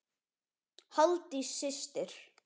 Halldís systir.